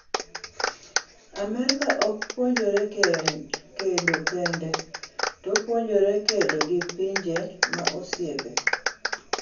Amerka ok puonjore kedo kende, to opuonjore kedo gi pinje ma osiepe.